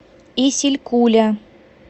исилькуля